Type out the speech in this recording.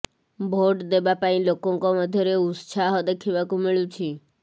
vote ଦେବା ପାଇଁ ଲୋକଙ୍କ ମଧ୍ୟରେ ଉତ୍ସାହ ଦେଖିବାକୁ ମିଳୁଛି